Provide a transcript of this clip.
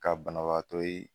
Ka banabagatɔ ye